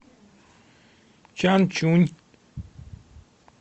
чанчунь